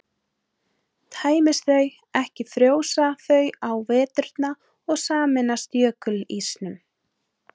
tæmist þau ekki frjósa þau á veturna og sameinast jökulísnum